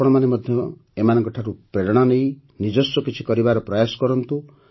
ଆପଣମାନେ ମଧ୍ୟ ଏମାନଙ୍କଠାରୁ ପ୍ରେରଣା ନେଇ ନିଜସ୍ୱ କିଛି କରିବାର ପ୍ରୟାସ କରନ୍ତୁ